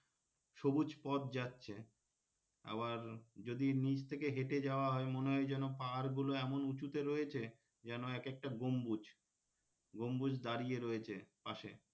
সবুজ পথ যাচ্ছে আবার যদি নিচ থেকে হেঁটে যাওয়া হয় মনে হয় যেন পাহাড় গুলো এমন উঁচুতে রয়েছে যেন এক একটা গম্বুজ গম্বুজ দাঁড়িয়ে রয়েছে পাশে,